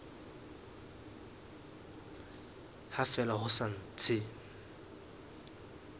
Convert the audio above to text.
ha fela ho sa ntse